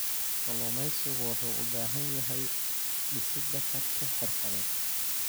Kalluumeysigu wuxuu u baahan yahay dhisidda karti xirfadeed.